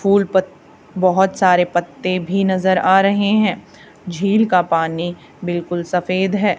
फूल पत बहोत सारे पत्ते भी नजर आ रहे हैं झील का पानी बिल्कुल सफेद है।